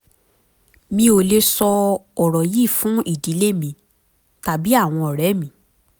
mi ò lè sọ ọ̀rọ̀ yìí fún ìdílé mi tàbí àwọn ọ̀rẹ́ mi